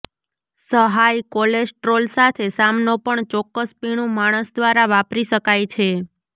સહાય કોલેસ્ટ્રોલ સાથે સામનો પણ ચોક્કસ પીણું માણસ દ્વારા વાપરી શકાય છે